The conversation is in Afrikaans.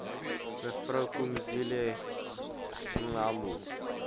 me phumzile mlambo